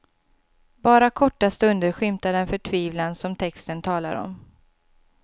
Bara korta stunder skymtar den förtvivlan som texten talar om.